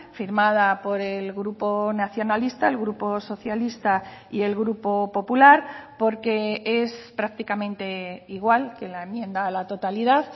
firmada por el grupo nacionalista el grupo socialista y el grupo popular porque es prácticamente igual que la enmienda a la totalidad